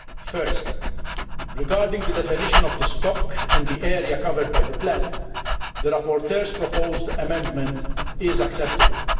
First, regarding the definition of the stock and the area covered by the plan, the rapporteur's proposed amendment is acceptable.